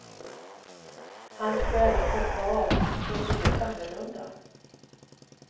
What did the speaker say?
Hans skäl att hoppa av är inte helt annorlunda.